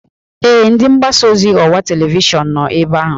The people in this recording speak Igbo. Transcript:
Ee, ndị nnọchiteanya ọwa televishọn nọ ebe ahụ